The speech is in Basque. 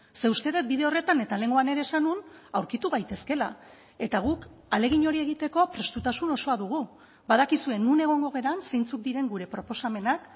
ze uste dut bide horretan eta lehengoan ere esan nuen aurkitu gaitezkela eta guk ahalegin hori egiteko prestutasun osoa dugu badakizue non egongo garen zeintzuk diren gure proposamenak